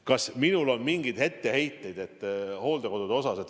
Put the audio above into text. Kas minul on mingeid etteheiteid hooldekodudele?